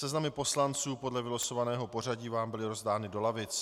Seznamy poslanců podle vylosovaného pořadí vám byly rozdány do lavic.